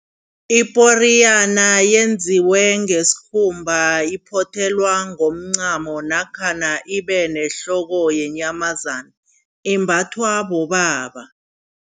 Iporiyana yenziwe ngesikhumba, iphothelwa ngomncamo namkha ibe nehloko yeenyamazana. Imbathwa bobaba.